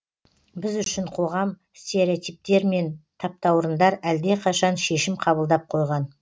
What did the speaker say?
біз үшін қоғам стереотиптер мен таптаурындар әлдеқашан шешім қабылдап қойған